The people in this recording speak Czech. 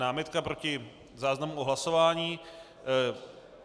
Námitka proti záznamu o hlasování.